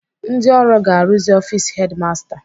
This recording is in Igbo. Ndị ọrụ ga-arụzi ọfis hedimasta